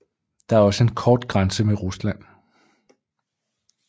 Der er også en kort grænse med Rusland